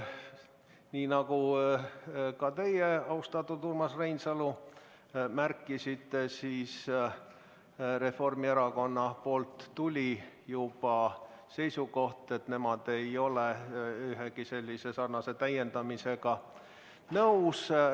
Nii nagu ka teie, austatud Urmas Reinsalu, märkisite, Reformierakonnalt tuli juba seisukoht, et nemad ei ole ühegi sellise täiendamisega nõus.